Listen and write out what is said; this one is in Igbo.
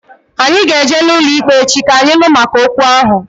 Anyị ga eje n'ụlọikpe echi, ka anyị nụ maka okwu ahụ